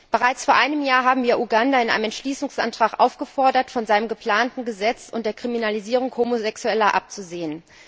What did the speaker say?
Bereits vor einem Jahr haben wir Uganda in einem Entschließungsantrag aufgefordert, von seinem geplanten Gesetz und der Kriminalisierung Homosexueller abzusehen.